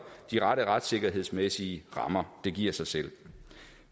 de rette retssikkerhedsmæssige rammer det giver sig selv